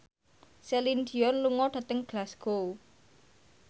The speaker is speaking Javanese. Celine Dion lunga dhateng Glasgow